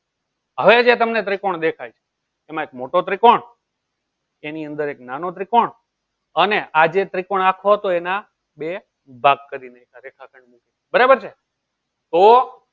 હવે જે તમને ત્રિકોણ દેખાય છે અમ એક મોટો ત્રિકોણ એની અંદર એક નાનો ત્રિકોણ અને આજે ત્રિકોણ આખો તો એના બે ભાગ કરી દેખાશે બરાબર છે ને તો